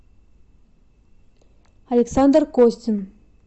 александр костин